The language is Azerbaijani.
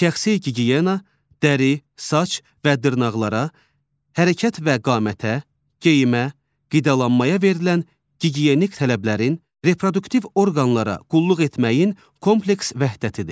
Şəxsi gigiyena, dəri, saç və dırnaqlara, hərəkət və qamətə, geyimə, qidalanmaya verilən gigiyenik tələblərin, reproduktiv orqanlara qulluq etməyin kompleks vəhdətidir.